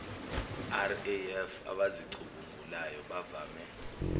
raf abazicubungulayo bavame